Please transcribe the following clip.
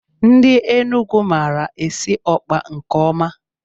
Ndị Enugu maara esi ọkpa nke ọma